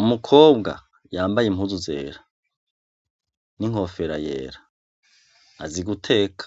Umukobwa yambaye impuzu zera n'inkofera yera azi guteka